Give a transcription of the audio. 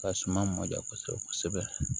Ka suman mɔdɛ kosɛbɛ kosɛbɛ